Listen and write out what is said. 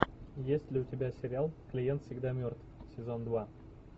есть ли у тебя сериал клиент всегда мертв сезон два